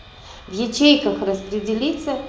в ячейках распределится